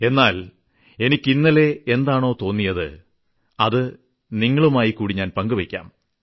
എന്നാൽ എനിക്ക് ഇന്നലെ എന്താണോ തോന്നിയത് അത് നിങ്ങളുമായിക്കൂടി പങ്കുവെയ്ക്കാം